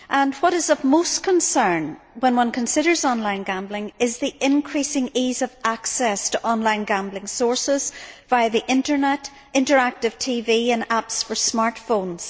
What is of most concern when one considers online gambling is the increasing ease of access to online gambling sources via the internet, interactive TV and apps for smartphones.